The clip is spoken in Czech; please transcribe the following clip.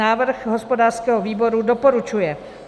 Návrh hospodářského výboru: doporučuje.